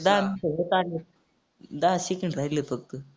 दहा तर होत आले. दहा second राहिले फक्त.